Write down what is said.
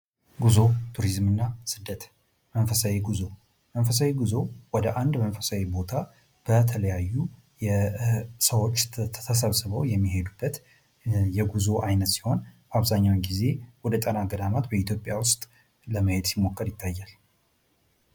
ጉዞ ፣ ቱሪዝም እና ስደት ፦ መንፈሳዊ ጉዞ ፦መንፈሳዊ ጉዞ ወደ አንድ መንፈሳዊ ቦታ በተለያዩ የሰዎች ተሰብስበው የሚሄዱበት የጉዞ ዓይነት ሲሆን አብዛኛውን ጊዜ ወደ ጣና ገዳማት በኢትዮጵያ ውስጥ ለመሄድ ሲሞከር ይታየል ።